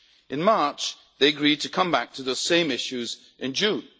In March, they agreed to come back to the same issues in June.